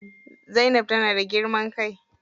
Zainab tana da girman kai.